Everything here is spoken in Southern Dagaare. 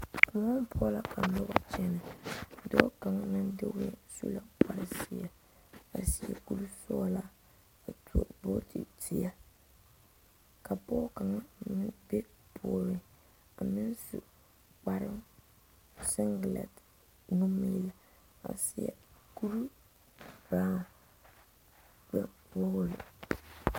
kôɛŋ poɔ la ka noba kyɛnɛ dɔɔ kaŋa meŋ sue kpar zeɛ a seɛ kuri sɔgelaa a tuo vooti zeɛ ka pɔge kaŋa mine be puoriŋ a meŋ su kpar sengelɛte nu ŋmaara a seɛ kuri birao kparre puomo la